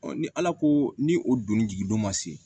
ni ala ko ni o donni jigi don ma se